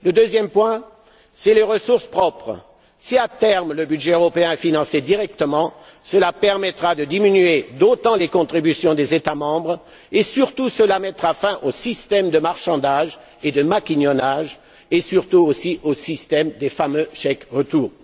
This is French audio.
Le deuxième point, c'est les ressources propres. Si, à terme, le budget européen est financé directement, cela permettra de diminuer d'autant les contributions des États membres et, surtout, cela mettra fin aux systèmes de marchandage et de maquignonnage et, surtout aussi, au système des fameux chèques retours.